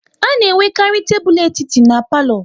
A na enwekarị tebụl etiti n'palo